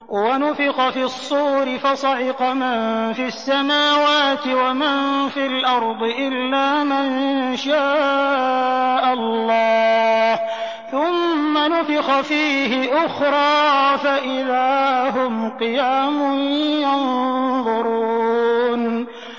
وَنُفِخَ فِي الصُّورِ فَصَعِقَ مَن فِي السَّمَاوَاتِ وَمَن فِي الْأَرْضِ إِلَّا مَن شَاءَ اللَّهُ ۖ ثُمَّ نُفِخَ فِيهِ أُخْرَىٰ فَإِذَا هُمْ قِيَامٌ يَنظُرُونَ